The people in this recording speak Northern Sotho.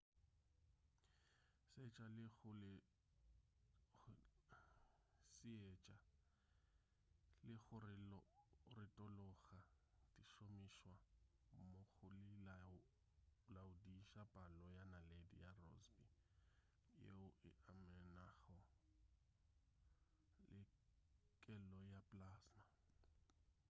seetša le go retologa di šomišwa mmogo go laodiša palo ya naledi ya rossby yeo e amanago le kelo ya plasma